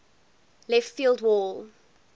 left field wall